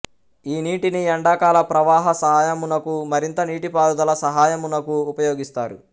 ఈ నీటిని ఎండాకాల ప్రవాహ సహాయమునకు మరింత నీటిపారుదల సహాయమునకు ఉపయోగిస్తారు